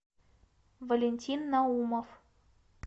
валентин наумов